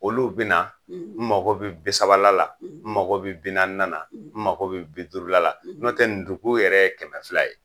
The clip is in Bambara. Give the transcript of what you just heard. Olu bi na n mago bi bi sabala la, n mago bi bi naana na , n mago bi bi duuru la la, n'o tɛ dugun yɛrɛ ye kɛmɛ fila ye.